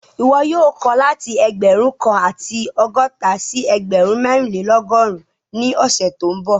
Ìwọ́ yóò kọ̀ láti ẹgbẹ́run kan àti ọgọta sí ẹgbẹ́run mẹ̀rìnlẹ̀lọ́gọ́run ni ọṣẹ̀ tó nbọ̀